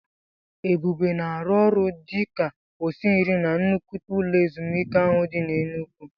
Ebube na-arụ ọrụ dị ka osinri na nnukwu ụlọ ezumike ahụ dị n'Enugwu.